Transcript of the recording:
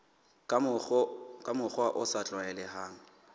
ka mokgwa o sa tlwaelehang